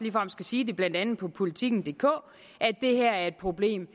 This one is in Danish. skal sige blandt andet på politikendk at det her er et problem